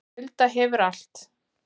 Hulda hefur allt